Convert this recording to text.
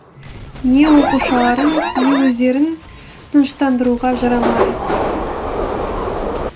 не оқушыларын не өздерін тыныштандыруға жарамады